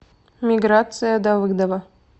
миграция давыдова